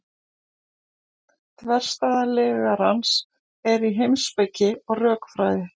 þverstæða lygarans er í heimspeki og rökfræði